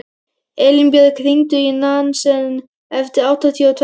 Elínbjörg, hringdu í Nansen eftir áttatíu og tvær mínútur.